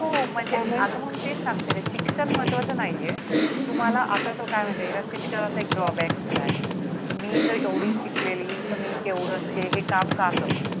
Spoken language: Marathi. हो म्हणजे काम ही अग मग तेच सांगते णा शिक्षण महत्वाचं नाहीये तुम्हाला आता तो काय म्हणते शिक्षणाचा एक डओब सुद्धा आहे मी जर एवढी शिकलेली नव्हती हे काम का करू